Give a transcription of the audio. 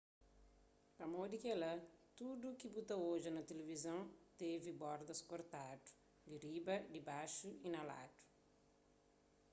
pamodi kela tudu ki bu ta odja na tilivizon tevi bordas kortadu di riba dibaxu y na ladu